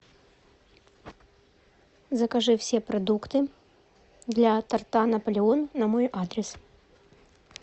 закажи все продукты для торта наполеон на мой адрес